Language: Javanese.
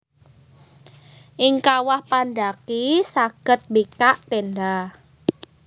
Ing kawah pandhaki saged mbikak téndha